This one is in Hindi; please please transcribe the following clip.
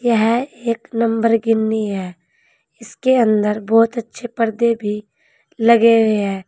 यह एक नंबर गिन्नी है इसके अंदर बहुत अच्छे पर्दे भी लगे हुए हैं।